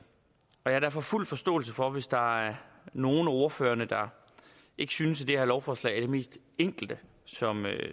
jeg har derfor fuld forståelse for hvis der er nogle af ordførerne der ikke synes at det her lovforslag er det mest enkle som